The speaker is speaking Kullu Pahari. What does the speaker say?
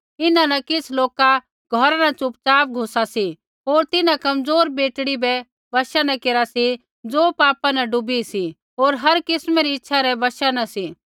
इन्हां न किछ़ लोका घौरा न च़ुपचाप घुसा सी होर तिन्हां कमज़ोर बेटड़ी बै वशा न केरा सी ज़ो पापा न डूबी सी होर हर किस्मै री इच्छै रै वशा न सी